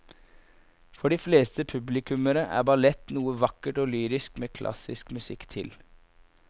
For de fleste publikummere er ballett noe vakkert og lyrisk med klassisk musikk til.